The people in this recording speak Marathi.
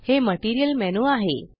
हे मटीरियल मेनू आहे